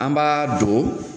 An b'a don